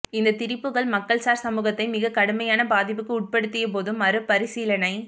இந்தத் திரிபுகள் மக்கள்சார் சமூகத்தை மிகக்கடுமையான பாதிப்புக்கு உட்படுத்திய போதும் மறுபரிசீலனை